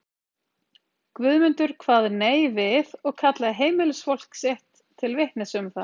Guðmundur kvað nei við og kallaði heimilisfólk sitt til vitnis um það.